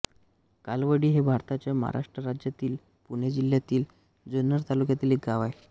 कालवडी हे भारताच्या महाराष्ट्र राज्यातील पुणे जिल्ह्यातील जुन्नर तालुक्यातील एक गाव आहे